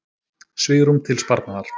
Svigrúm til sparnaðar